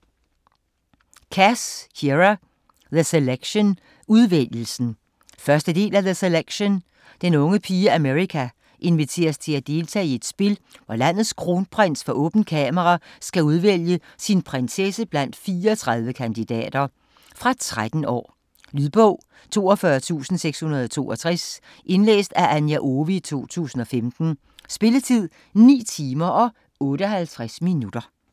Cass, Kiera: The selection - udvælgelsen 1. del af The selection. Den unge pige America inviteres til at deltage i et spil, hvor landets kronprins for åbent kamera skal udvælge sin prinsesse blandt 34 kandidater. Fra 13 år. Lydbog 42662 Indlæst af Anja Owe, 2015. Spilletid: 9 timer, 58 minutter.